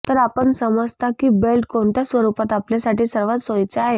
तर आपण समजता की बेल्ट कोणत्या स्वरुपात आपल्यासाठी सर्वात सोईचे आहे